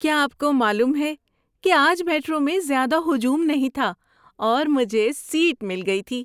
کیا آپ کو معلوم ہے کہ آج میٹرو میں زیادہ ہجوم نہیں تھا اور مجھے سیٹ مل گئی تھی؟